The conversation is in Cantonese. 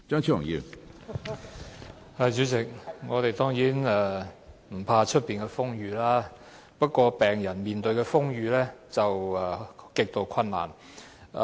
主席，我們當然不懼怕外面的風雨，不過，病人要面對風雨，卻極度困難。